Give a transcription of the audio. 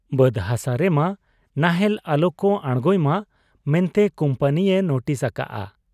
ᱵᱟᱹᱫᱽ ᱦᱟᱥᱟ ᱨᱮᱢᱟ ᱱᱟᱦᱮᱞ ᱟᱞᱚᱠᱚ ᱟᱬᱜᱚᱭᱢᱟ ᱢᱮᱱᱛᱮ ᱠᱩᱢᱯᱟᱹᱱᱤᱭᱮ ᱱᱩᱴᱤᱥ ᱟᱠᱟᱜ ᱟ ᱾